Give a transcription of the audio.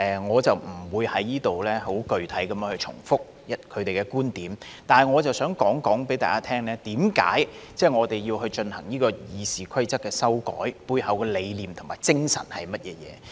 我不會在此具體重複他們的觀點。但是，我想告訴大家，為何我們要修改《議事規則》，背後的理念和精神是甚麼？